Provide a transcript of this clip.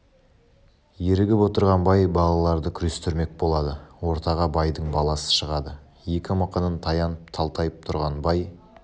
ерігіп отырған бай балаларды күрестірмек болады ортаға байдың баласы шығады екі мықынын таянып талтайып тұрған бай